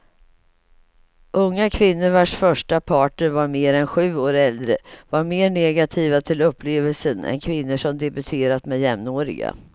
Unga kvinnor vars första partner var mer än sju år äldre var mer negativa till upplevelsen än kvinnor som debuterat med jämnåriga.